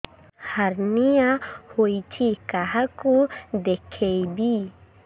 hernia ହୋଇଛି କାହାକୁ ଦେଖେଇବି